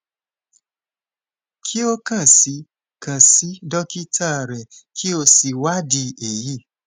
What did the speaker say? ki o kan si kan si dokita rẹ ki o si iwadi eyi